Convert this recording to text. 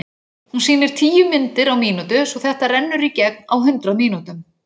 Hún sýnir tíu myndir á mínútu svo þetta rennur í gegn á hundrað mínútum.